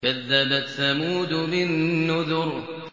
كَذَّبَتْ ثَمُودُ بِالنُّذُرِ